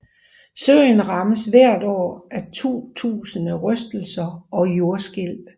Søen rammes hvert år af 2000 rystelser og jordskælv